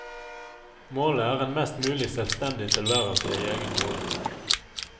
Målet er en mest mulig selvstendig tilværelse i egen bolig.